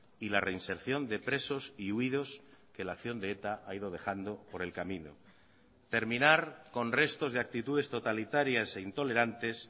y la reinserción de presos y huidos que la acción de eta ha ido dejando por el camino terminar con restos de actitudes totalitarias e intolerantes